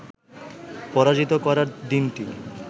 পরাজিত করার দিনটি